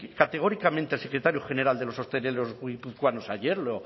categóricamente el secretario general de los hosteleros guipuzcoanos ayer